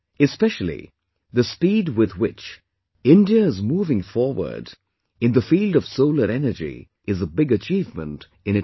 Especially, the speed with which India is moving forward in the field of solar energy is a big achievement in itself